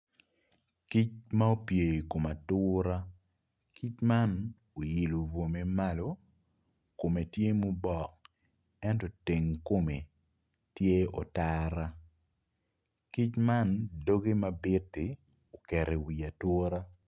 kic ma opye i kom atura kic man oyilo bwomme malo kume tye mubok ento teng kumme tye otara kic man dogge ma bitti ukeri iwi autra